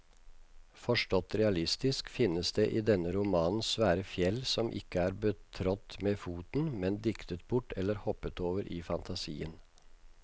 Forstått realistisk finnes det i denne romanen svære fjell som ikke er betrådt med foten, men diktet bort eller hoppet over i fantasien.